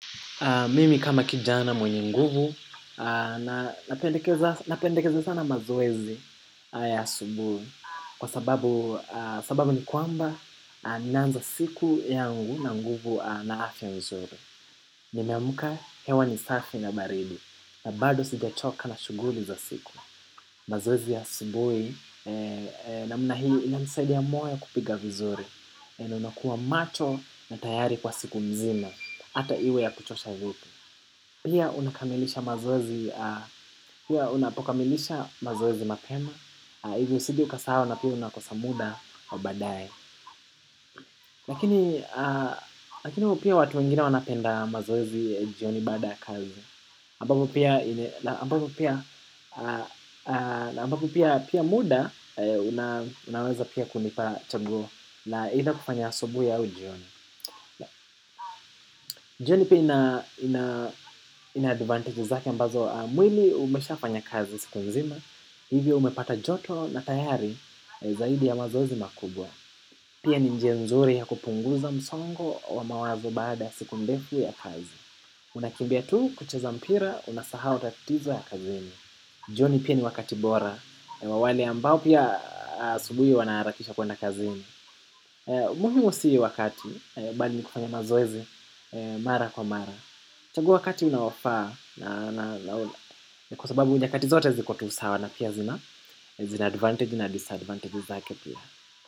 Mimi kama kijana mwenye nguvu, na pendekeza sana mazoezi ya asubuhi kwa sababu ni kwamba ninaanza siku yangu na nguvu na afya nzuri. Nimeamka hewa ni safi na baridi, na bado sijachoka na shughuli za siku. Mazoezi ya asubuhi na mna hii ina nisaidia moyo kupiga vizuri. Vile unakua macho na tayari kwa siku nzima hata iwe ya kuchosha vipi pia unakamilisha mazoezi unapokamilisha mazoezi mapema ili usije ukasahau na pia unakosamuda wabaadaye. Lakini pia watu wengine wanapenda mazoezi jioni baadaya kazi ambapo pia muda unaweza pia kunipa changu la either kufanya asubuhi au jioni. Jioni pia ina advantage zake ambazo mwili umesha fanya kazi siku nzima hivyo umepata joto na tayari zaidi ya mazoezi makubwa pia ni njia nzuri ya kupunguza msongo wa mawazo baada ya siku ndefu ya kazi. Unakimbia tu kucheza mpira unasahau tatizo ya kazini. Jioni pia ni wakati bora. Wawale ambao pia asubuhi wanaharakisha kwenda kazini. Umuhimu si wakati bali nikufanya mazoezi mara kwa mara. Chagua wakati unaofaa. Na kwa sababu nyakati zote zikotusawa na pia zina zina advantage na disadvantage zake pia.